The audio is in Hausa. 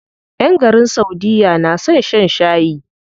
ƴan garin saudiya na son shan shayi.